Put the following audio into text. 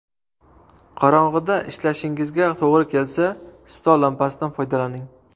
Qorong‘ida ishlashingizga to‘g‘ri kelsa, stol lampasidan foydalaning.